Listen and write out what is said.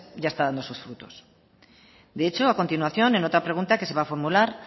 ya está dando sus frutos de hecho a continuación en otra pregunta que se va a formular